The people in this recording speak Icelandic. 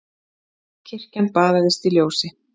Kirkjan baðaðist ljósi.